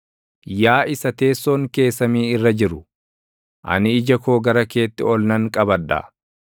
Yaa isa teessoon kee samii irra jiru, ani ija koo gara keetti ol nan qabadha.